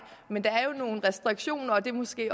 men der er jo nogle restriktioner og det er måske